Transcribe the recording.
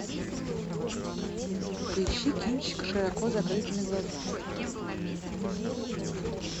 поищи кинчик с широко закрытыми глазами